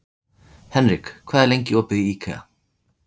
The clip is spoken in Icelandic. Henrik, hvað er lengi opið í IKEA?